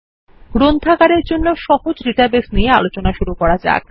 গ্রন্থাগার এর জন্য সহজ ডাটাবেস নিয়ে আলোচনা করুন